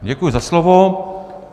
Děkuji za slovo.